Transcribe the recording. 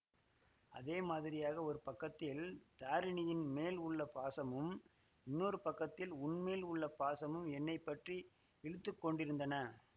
அதே மாதிரியாக ஒரு பக்கத்தில் தாரிணியின் மேல் உள்ள பாசமும் இன்னொரு பக்கத்தில் உன்மேல் உள்ள பாசமும் என்னை பற்றி இழுத்துக்கொண்டிருந்தன